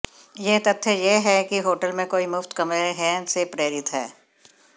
यह तथ्य यह है कि होटल में कोई मुफ्त कमरे हैं से प्रेरित है